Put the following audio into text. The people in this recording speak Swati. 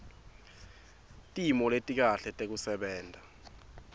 timo letikahle tekusebenta